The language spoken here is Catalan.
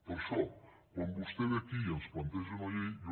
per això quan vostè ve aquí i ens planteja una llei jo